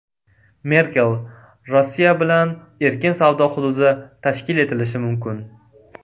Merkel: Rossiya bilan erkin savdo hududi tashkil etilishi mumkin.